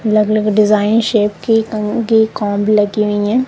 अलग अलग design shape की कंगी कॉम्ब लगी हुई हैं।